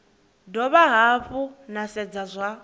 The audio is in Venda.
dovha hafhu na sedza zwa